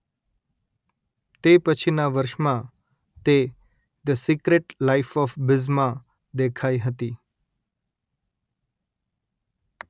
તે પછીના વર્ષમાં તે the Secret Life of Bees માં દેખાઇ હતી